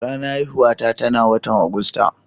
Ranan haihuwa ta na wotan Agusta.